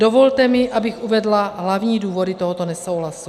Dovolte mi, abych uvedla hlavní důvody tohoto nesouhlasu.